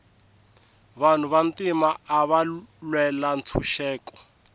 vanhu va ntima ava lwela ntshuxeko